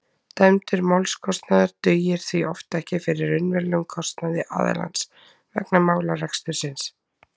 dæmdur málskostnaður dugir því oft ekki fyrir raunverulegum kostnaði aðilans vegna málarekstursins